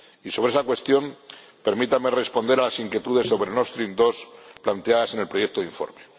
Y sobre esa cuestión, permítanme responder a las inquietudes sobre NordStream 2 planteadas en el proyecto de informe.